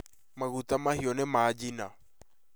maguta mahĩũ nĩ manjina